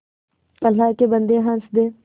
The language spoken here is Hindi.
अल्लाह के बन्दे हंस दे